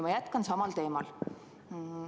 Ma jätkan samal teemal.